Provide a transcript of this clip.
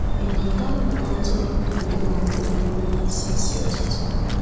Ị̀ na-aga nnọkọ ntụrụndụ ndị na-adịrị ruo nisi isi ụtụtụ?